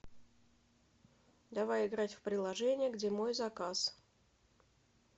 давай играть в приложение где мой заказ